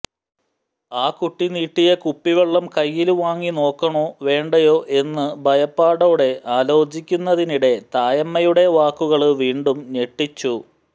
ആ കുട്ടി നീട്ടിയ കുപ്പിവെള്ളം കയ്യില് വാങ്ങി നോക്കണോ വേണ്ടയോ എന്നു ഭയപ്പാടോടെ ആലോചിക്കുന്നതിനിടെ തായമ്മയുടെ വാക്കുകള് വീണ്ടും ഞെട്ടിച്ചു